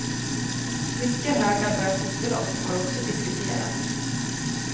Mycket höga bötesbelopp har också diskuterats.